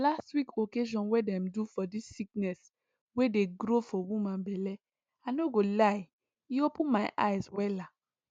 last week occasion wey dem do for dis sickness wey dey grow for woman belle i no go lie you e open my eyes wella